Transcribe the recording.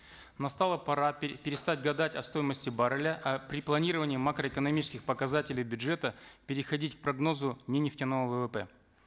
настала пора перестать гадать о стоимости барреля а при планировании макроэкономических показателей бюджета переходить к прогнозу не нефтяного ввп